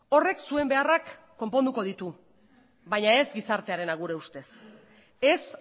horrek zuen beharrak konponduko ditu baina ez gizartearena gure ustez ez